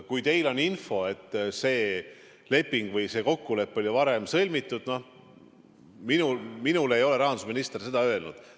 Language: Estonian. Kui teil on infot, et see leping või see kokkulepe oli varem sõlmitud – noh, minule ei ole rahandusminister seda öelnud.